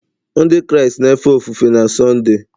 Ndị Kraịst na-efe ofufe na Sọnde